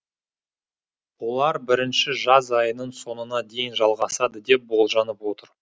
олар бірінші жаз айының соңына дейін жалғасады деп болжанып отыр